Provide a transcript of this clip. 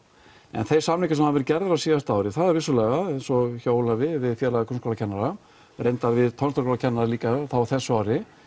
en þeir samningar sem hafa verið gerðir gerðir á síðasta ári það eru vissulega eins og hjá Ólafi við félag grunnskólakennara reyndar við tónlistarkennara líka á þessu ári